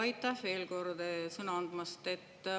Aitäh veel kord sõna andmast!